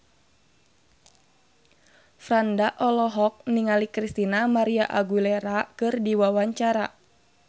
Franda olohok ningali Christina María Aguilera keur diwawancara